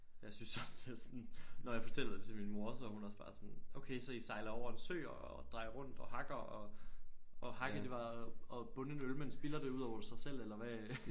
Jeg synes også det er sådan når jeg fortæller det til min mor så er hun også bare sådan okay så I sejler over en sø og drejer rundt og hakker og og hakke det var at bunde en øl men spilder det ud over sig selv eller hvad